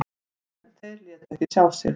En þeir létu ekki sjá sig.